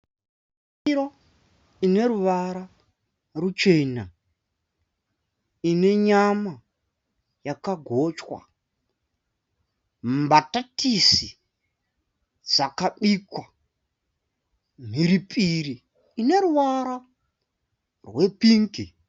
Ndiro ine ruvara ruchena ine nyama yakagochwa mbatatisi dzakabikwa mhiripiri ineruvara rwepingi